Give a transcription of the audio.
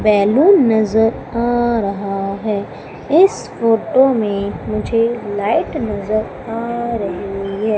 Balloon नजर आ रहा है इस फोटो में मुझे लाइट नजर आ रही हैं।